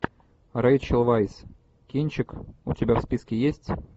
рейчел вайс кинчик у тебя в списке есть